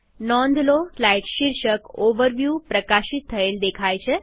નોંધલો slide શીર્ષક overview પ્રકાશિત થયેલ દેખાય છે